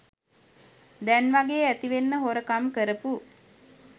දැන්වගේ ඇතිවෙන්න හොරකම් කරපු